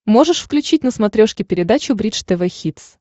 можешь включить на смотрешке передачу бридж тв хитс